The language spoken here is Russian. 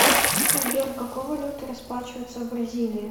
сбер какой валютой расплачиваются в бразилии